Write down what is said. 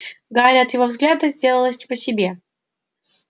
гарри от его взгляда сделалось не по себе